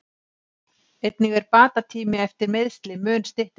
Einnig er bata tími eftir meiðsli mun styttri.